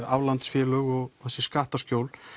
aflandsfélög og þessi skattaskjól